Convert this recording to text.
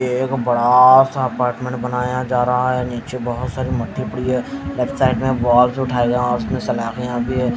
एक बड़ा सा अपार्टमेंट बनाया जा रहा है नीचे बहोत सारी मट्टी पड़ी है लेफ्ट साइड मे बॉक्स उठाईया जहां उसमें भी है।